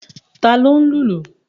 Ta ló ń lùlù?